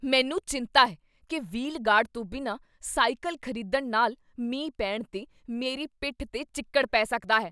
ਮੈਨੂੰ ਚਿੰਤਾ ਹੈ ਕੀ ਵ੍ਹੀਲ ਗਾਰਡ ਤੋਂ ਬਿਨਾਂ ਸਾਈਕਲ ਖ਼ਰੀਦਣ ਨਾਲ ਮੀਂਹ ਪੈਣ 'ਤੇ ਮੇਰੀ ਪਿੱਠ 'ਤੇ ਚਿੱਕੜ ਪੈ ਸਕਦਾ ਹੈ।